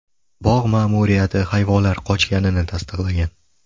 Bog‘ ma’muriyati hayvonlar qochganini tasdiqlagan.